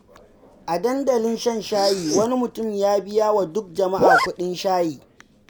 A dandalin shan shayi, wani mutum ya biya wa duk jama’a kuɗin shayi.